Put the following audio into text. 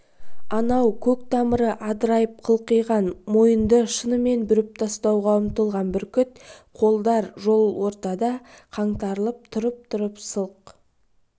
анау көк тамыры адырайып қылқиған мойынды шынымен бүріп тастауға ұмтылған бүркіт қолдар жол ортада қаңтарылып тұрып-тұрып сылқ